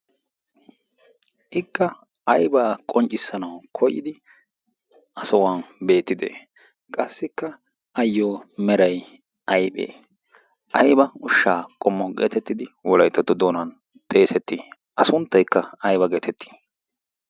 ikka aybaa qonccissanawu koyidi a sohuwan beettide qassikka ayyo meray ayphee ayba ushshaa qommwo geetettidi wolaytattu doonan xeesettii a sunttaykka ayba geetettii